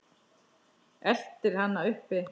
Eltir hana uppi.